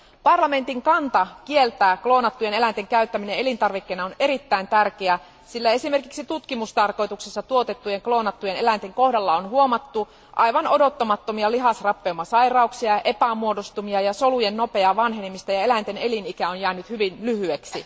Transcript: Parlamentin kanta kieltää kloonattujen eläinten käyttäminen elintarvikkeena on erittäin tärkeä, sillä esimerkiksi tutkimustarkoituksissa tuotettujen kloonattujen eläinten kohdalla on huomattu aivan odottamattomia lihasrappeumasairauksia, epämuodostumia ja solujen nopeaa vanhenemista ja eläinten elinikä on jäänyt hyvin lyhyeksi.